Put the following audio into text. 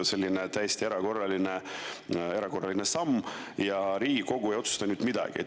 Selline täiesti erakordne samm, aga Riigikogu ei ole midagi otsustanud.